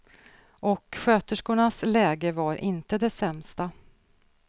Och sköterskornas läge var inte det sämsta.